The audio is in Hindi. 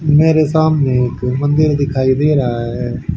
मेरे सामने एक मंदिर दिखाई दे रहा है।